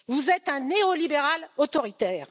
Vous êtes un néolibéral autoritaire.